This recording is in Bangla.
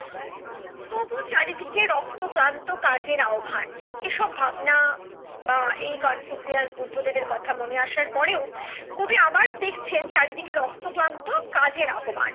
তবু চারিদিকে রক্ত ক্লান্ত কাজের আহ্বান এসব ভাবনা বা এই কনফুসিয়াস, বুদ্ধদেবের কথা মনে আসার পরেও কবি আবার দেখছেন চারিদিকে রক্ত ক্লান্ত কাজের আহ্বান